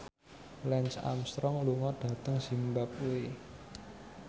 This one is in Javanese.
Lance Armstrong lunga dhateng zimbabwe